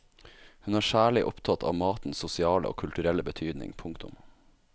Hun er særlig opptatt av matens sosiale og kulturelle betydning. punktum